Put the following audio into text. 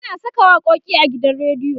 ana Saka waƙoƙi a gidan rediyo